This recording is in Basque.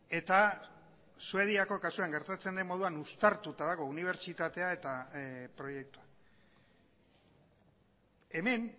eta suediako kasuan gertatzen den moduan uztartuta dago unibertsitatea eta proiektua hemen